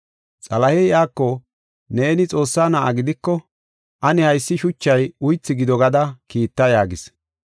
Xalahey iyako, “Neeni Xoossaa na7a gidiko ane haysi shuchay uythu gido gada kiitta” yaagis.